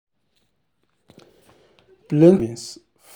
plenty people dey give part of their savings for their savings for charity every year.